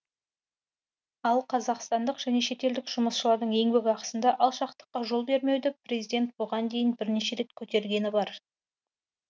ал қазақстандық және шетелдік жұмысшылардың еңбекақысында алшақтыққа жол бермеуді президент бұған дейін бірнеше рет көтергені бар